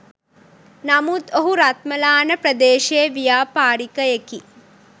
නමුත් ඔහු රත්මලාන ප්‍රදේශයේ ව්‍යාපාරිකයෙකි.